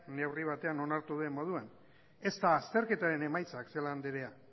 neurri batean onartu duen moduan ez dira azterketaren emaitzak celaá andrea